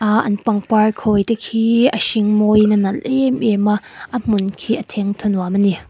aaa an pangpar khawite hi a hring mawiin a nalh êm êm a a hmun khi a thengthaw nuam a ni.